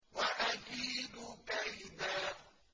وَأَكِيدُ كَيْدًا